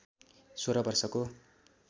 सोह्र वर्षको